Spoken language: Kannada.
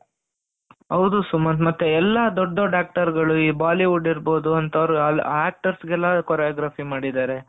ಹೌದು ಸುಮಂತ್ ಮತ್ತೆ ಎಲ್ಲಾ ದೊಡ್ಡ ದೊಡ್ಡ actors ಗಳು ಈ ಬಾಲಿವುಡ್ ಇರ್ಬೋದು ಅಂತ ಅವರ actors ಗಳಿಗೆಲ್ಲ choreography ಮಾಡಿದ್ದಾರೆ.